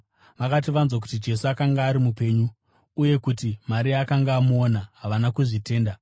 Vakati vanzwa kuti Jesu akanga ari mupenyu, uye kuti Maria akanga amuona, havana kuzvitenda.